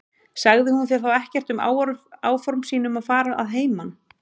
Sagði hún þér þá ekkert um áform sín um að fara að heiman?